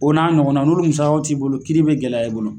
O n'a ɲɔgɔn naw. N'olu musakaw t'i bolo kiiri be gɛlɛya e bolo.